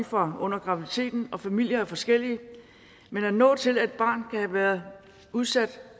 fra under graviditeten og familier er forskellige men at nå til at et barn kan have været udsat